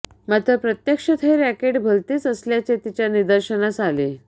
मात्र प्रत्यक्षात हे रॅकेट भलतेच असल्याचे तिच्या निदर्शनास आले